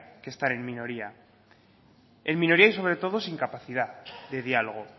que están en minoría en minoría y sobre todo y sin capacidad de diálogo